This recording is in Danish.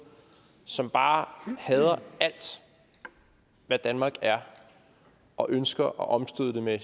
som bare hader alt hvad danmark er og ønsker at omstøde det med